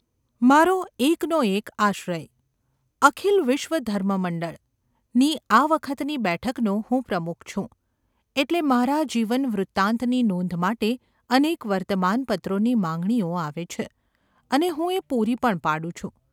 મારો એકનોએક આશ્રય ‘અખિલ વિશ્વધર્મ મંડળ’ ની આ વખતની બેઠકનો હું પ્રમુખ છું એટલે મારા જીવનવૃતાંતની નોંધ માટે અનેક વર્તમાનપત્રોની માંગણીઓ આવે છે અને હું એ પૂરી પણ પાડું છું.